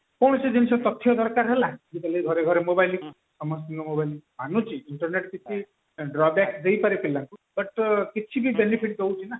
କୌଣସି ଜିନିଷ ତଥ୍ୟ ଦରକାର ହେଲା ଆଜି କାଲି ଘରେ ଘରେ mobile ସମସ୍ତିଙ୍କ ଘରେ ମାନୁଛି internet କିଛି ଦେଇପାରେ ପିଲାଙ୍କୁ but କିଛି ବି benefit ଦଉଛି ନା